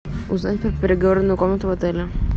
узнать про переговорную комнату в отеле